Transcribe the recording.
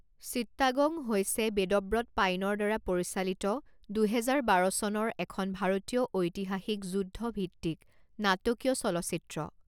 Chittagong হৈছে বেদব্ৰত পাইনৰ দ্বাৰা পৰিচালিত দুহেজাৰ বাৰ চনৰ এখন ভাৰতীয় ঐতিহাসিক যুদ্ধভিত্তিক নাটকীয় চলচ্চিত্ৰ।